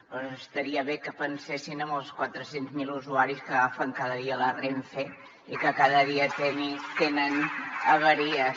doncs estaria bé que pensessin en els quatre cents miler usuaris que agafen cada dia la renfe i que cada dia tenen avaries